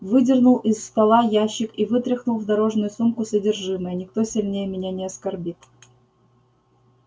выдернул из стола ящик и вытряхнул в дорожную сумку содержимое никто сильнее меня не скорбит